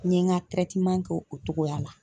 N ye n ka kɛ o togoya la.